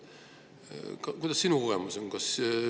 Milline sinu kogemus on?